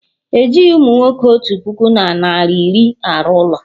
Ejighị umunwoke otu puku na narị iri arụ ụlọ